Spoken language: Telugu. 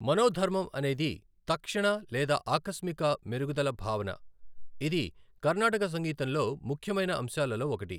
మనోధర్మం అనేది తక్షణ లేదా ఆకస్మిక మెరుగుదల భావన, ఇది కర్ణాటక సంగీతంలో ముఖ్యమైన అంశాలలో ఒకటి.